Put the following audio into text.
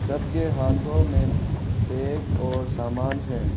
सबके हाथों में बेग और सामान है।